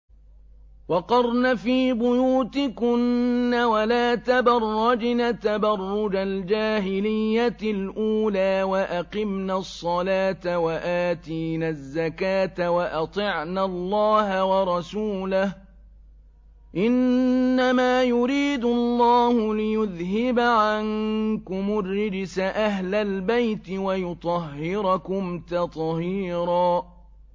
وَقَرْنَ فِي بُيُوتِكُنَّ وَلَا تَبَرَّجْنَ تَبَرُّجَ الْجَاهِلِيَّةِ الْأُولَىٰ ۖ وَأَقِمْنَ الصَّلَاةَ وَآتِينَ الزَّكَاةَ وَأَطِعْنَ اللَّهَ وَرَسُولَهُ ۚ إِنَّمَا يُرِيدُ اللَّهُ لِيُذْهِبَ عَنكُمُ الرِّجْسَ أَهْلَ الْبَيْتِ وَيُطَهِّرَكُمْ تَطْهِيرًا